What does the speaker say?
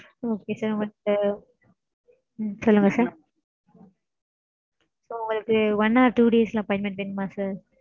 Okay sir உங்களுக்கு உம் சொல்லுங்க sir. உங்களுக்கு one or two days ல appointment வேணுமா sir?